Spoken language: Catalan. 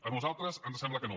a nosaltres ens sembla que no